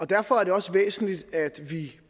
derfor er det også væsentligt at vi